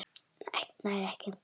Nær ekki.